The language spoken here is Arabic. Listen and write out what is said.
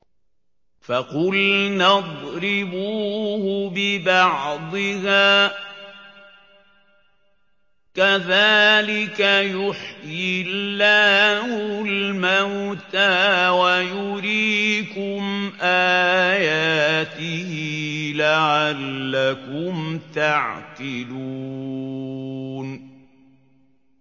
فَقُلْنَا اضْرِبُوهُ بِبَعْضِهَا ۚ كَذَٰلِكَ يُحْيِي اللَّهُ الْمَوْتَىٰ وَيُرِيكُمْ آيَاتِهِ لَعَلَّكُمْ تَعْقِلُونَ